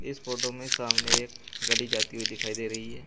इस फोटो में सामने एक गली जाती हुई दिखाई दे रही है।